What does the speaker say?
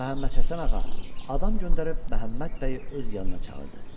Məhəmməd Həsən ağa adam göndərir Məhəmməd bəyi öz yanına çağırdı.